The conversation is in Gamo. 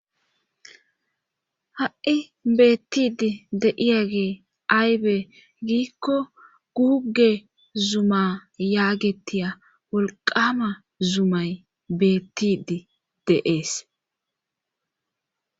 Ha'i beettidi deiya gee aybee giikko guuge zuma yaagettiya wolqama zumay beettidi deees.